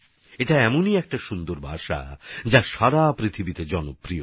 এটা এমন এক সুন্দর ভাষা যা বিশ্বজুড়ে জনপ্রিয়